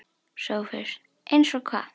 SOPHUS: Eins og hvað?